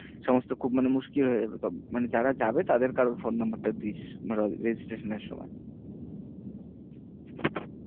সমস্ত খুব মানে মুশকিল হয়ে যাবে। মানে যারা যাবে তাদের কারোর phone number টা দিস registration এর সময়